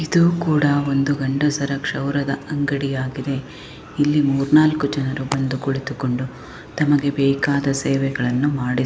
ಇದು ಕೂಡ ಒಂದು ಗಂಡುಸರ ಕ್ಷೌರದ ಅಂಗಡಿ ಆಗಿದೆ. ಇಲ್ಲಿ ಮೂರು ನಾಲ್ಕು ಜನ ಬಂದು ಕುಳಿತುಕೊಂಡು ತಮಗೆ ಬೇಕಾದ ಸೇವೆಗಳನ್ನು ಮಾಡಿಸಿ--